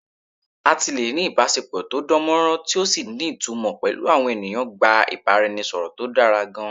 Àti lè ní ìbásepọ̀ tó dánmọ́nrán tí ò sì ní ìtumọ̀ pẹ̀lú àwọn ènìyàn gba ìbáraẹnisọ̀rọ̀ tó dára gan-an